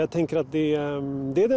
að tengja við